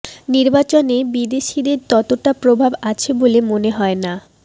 নির্বাচনে বিদেশিদের ততটা প্রভাব আছে বলে মনে হয় না